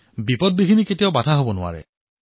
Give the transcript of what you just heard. কঠিনতা কেতিয়াও বাধা হব নোৱাৰে